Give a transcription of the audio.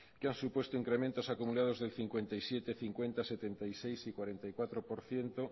que han supuesto incrementos acumulados del cincuenta y siete cincuenta setenta y seis y cuarenta y cuatro por ciento